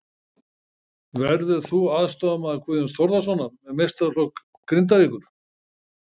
Verður þú aðstoðarmaður Guðjóns Þórðarsonar með meistaraflokk Grindavíkur?